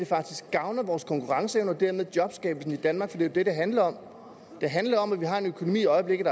faktisk gavner vores konkurrenceevne og dermed jobskabelse i danmark for det det der handler om det handler om at vi har en økonomi i øjeblikket